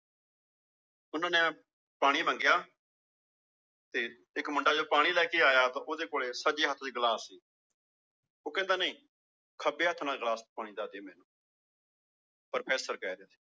ਉਹਨਾਂ ਨੇ ਪਾਣੀ ਮੰਗਿਆ ਤੇ ਇੱਕ ਮੁੰਡਾ ਜਦੋਂ ਪਾਣੀ ਲੈ ਕੇ ਆਇਆ ਤਾਂ ਉਹਦੇ ਕੋਲੇ ਸੱਜੇ ਚ ਗਲਾਸ ਸੀ ਉਹ ਕਹਿੰਦਾ ਨਹੀਂ ਖੱਬੇ ਹੱਥ ਨਾਲ ਗਲਾਸ ਪਾਣੀ ਦਾ ਦੇ ਮੈਨੂੰ ਪ੍ਰਫੈਸਰ ਕਹਿ ਰਹੇ ਨੇ